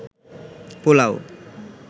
pulao